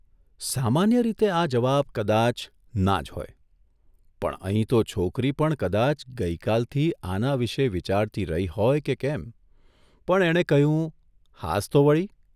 સામાન્ય રીતે આ જવાબ કદાચ' ના' જ હોય, પણ અહીં તો છોકરી પણ કદાચ ગઇકાલથી આના વિશે વીચારતી રહી હોય કે કેમ, પણ એણે કહ્યું, ' હાસ્તો વળી!